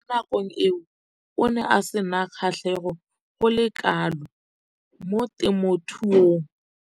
Mo nakong eo o ne a sena kgatlhego go le kalo mo temothuong.